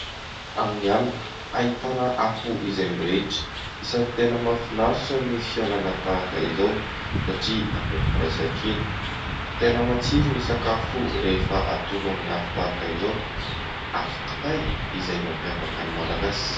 Amin'ny alina ahitana afo izay mirehitra, isany tena mahafinaritra ny fihaonana tahaka izao satria maneho ny firaisankina, tena matsiro ny sakafo rehefa atono amin'ny afo tahaka izao, afo kitay izay mampiavaka ny Malagasy.